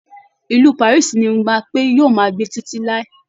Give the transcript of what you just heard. Ìlù Paris ni Mbape yóò máa gbé títí láí